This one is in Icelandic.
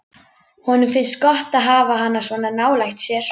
Honum finnst gott að hafa hana svona nálægt sér.